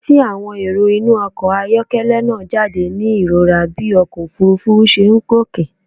Etí àwọn èrò inú ọkọ̀ ayọ́kẹ́lẹ́ náà jáde ní ìrora bí ọkọ̀ òfuurufú ṣe ń gòkè.